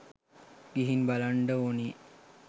ගිහින් බලන්ඩ ඕනි